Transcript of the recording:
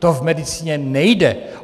To v medicíně nejde.